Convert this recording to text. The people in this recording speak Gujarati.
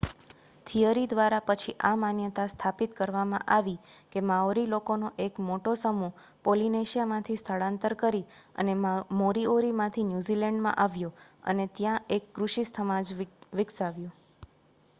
થિયરી દ્વારા પછી આ માન્યતા સ્થાપિત કરવામાં આવી કે માઓરી લોકોનો એક મોટો સમૂહ પોલિનેશિયામાંથી સ્થળાંતર કરી અને મોરીઓરીમાંથી ન્યૂઝીલેન્ડમાં આવ્યો અને ત્યાં એક કૃષિ સમાજ વિકસાવ્યો